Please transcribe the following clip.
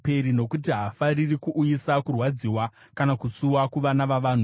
Nokuti haafariri kuuyisa kurwadziwa kana kusuwa kuvana vavanhu.